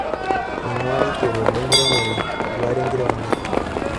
Eing'uaa ilkigerot lenkirmore:Nduat enkiremore .